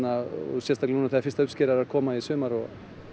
sérstaklega núna þegar fyrsta uppskeran er að koma í sumar og